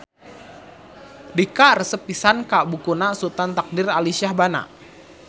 Dika resep pisan ka bukuna Sutan Takdir Alisjahbana